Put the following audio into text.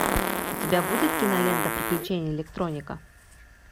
у тебя будет кинолента приключения электроника